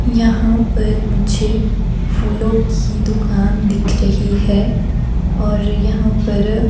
यहां पर मुझे फूलो की दुकान दिख रही है और यहां पर--